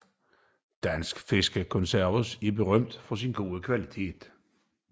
Dansk fiskekonserves berømt for sin gode kvalitet